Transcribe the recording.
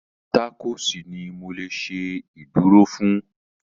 Tákòòsì ni mo lè ṣe ìdúró fún